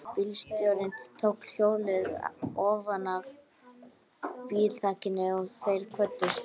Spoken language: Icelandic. Bílstjórinn tók hjólið ofanaf bílþakinu og þeir kvöddust.